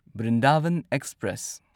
Brindavan express